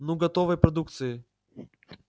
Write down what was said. ну готовой продукцией